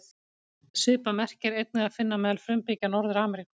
Svipað merki er einnig að finna meðal frumbyggja Norður-Ameríku.